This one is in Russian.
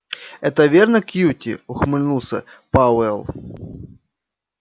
это верно кьюти ухмыльнулся пауэлл